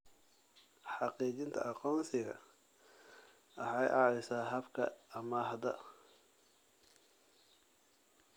Xaqiijinta aqoonsiga waxay caawisaa habka amaahda.